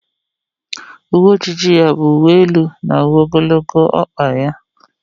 Uwe ejiji ya ọ bụ uwe elu na uwe ogologo ọkpa ya?